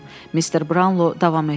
Mister Brownlo davam etdi.